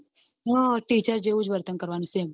હા teacher જેવું જ વર્તન કરવાનું same